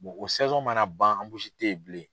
o mana ban te yen bilen.